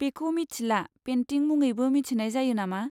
बेखौ मिथिला पेन्टिं मुङैबो मिथिनाय जायो नामा?